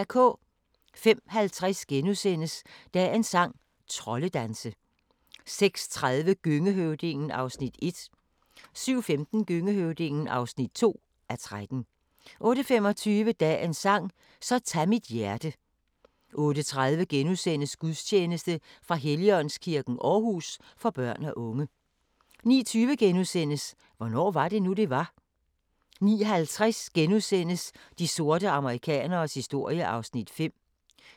05:50: Dagens sang: Troldedanse * 06:30: Gøngehøvdingen (1:13) 07:15: Gøngehøvdingen (2:13) 08:25: Dagens sang: Så tag mit hjerte 08:30: Gudstjeneste fra Helligåndskirken, Aarhus, for børn og unge * 09:20: Hvornår var det nu, det var? * 09:50: De sorte amerikaneres historie (5:6)*